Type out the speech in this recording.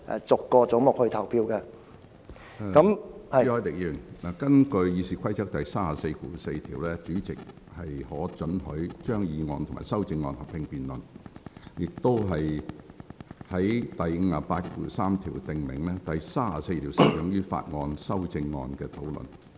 朱凱廸議員，根據《議事規則》第344條，主席可准許就議案及其修正案進行合併辯論，而第583條訂明，第34條適用於法案修正案的討論。